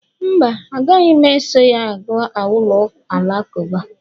mba, agaghị m eso ya gaa ụlọ alakụba